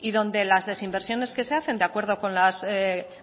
y donde las desinversiones que se hacen de acuerdo con las